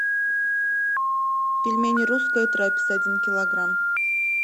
пельмени русская трапеза один килограмм